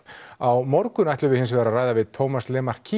á morgun ætlum við hins vegar að ræða við Tómas